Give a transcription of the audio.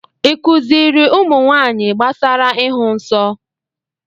ị kuziri ụmụnwaanyị gbasara ịhụ nsọ?